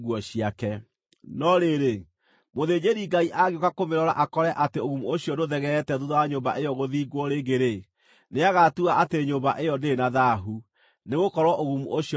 “No rĩrĩ, mũthĩnjĩri-Ngai angĩũka kũmĩrora akore atĩ ũgumu ũcio ndũthegeete thuutha wa nyũmba ĩyo gũthingwo rĩngĩ-rĩ, nĩagatua atĩ nyũmba ĩyo ndĩrĩ na thaahu, nĩgũkorwo ũgumu ũcio nĩũthirĩte.